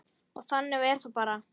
Og þannig var það bara.